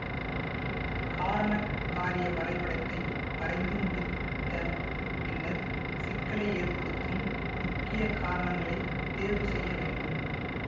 காரணக் காரிய வரைபடத்தை வரைந்து முடிந்த பின்னர் சிக்கலை ஏற்படுத்தும் முக்கிய காரணங்களைத் தேர்வு செய்ய வேண்டும்